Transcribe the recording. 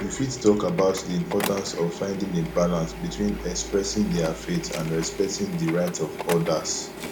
you fit talk about di importance of finding a balance between expressing dia faith and respecting di rights of odas